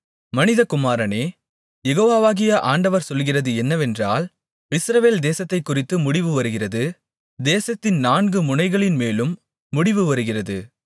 மனிதகுமாரனே யெகோவாகிய ஆண்டவர் சொல்லுகிறது என்னவென்றால் இஸ்ரவேல் தேசத்தைக்குறித்து முடிவு வருகிறது தேசத்தின் நான்கு முனைகளின் மேலும் முடிவு வருகிறது